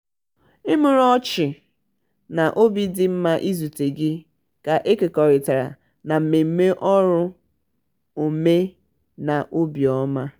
imurimu ọchị na "obi dị m mma izute gị" ka e kekọrịtara na mmemme ọrụ omenobiọma.